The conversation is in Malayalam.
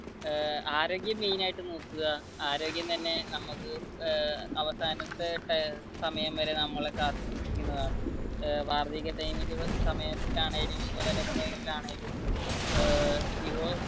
ഏർ ആരോഗ്യം മെയിൻ ആയിട്ട് നോക്കുക ആരോഗ്യം തന്നെ നമുക്ക് ഏർ അവസാനത്തെ സമയം വരെ നമ്മളെ കാത്തുസൂക്ഷിക്കുന്നതാണ് ഏർ യുവ